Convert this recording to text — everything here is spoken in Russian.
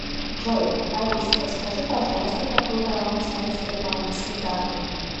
джой алиса подскажи пожалуйста какой баланс моей сбербанковской карты